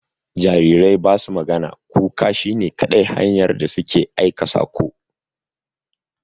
Jarirai ba su magana, kuka shi ne kadai hanyar da su ke aika saƙo.